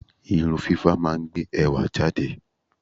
Irun fífá máa ń gbé ẹwà jáde.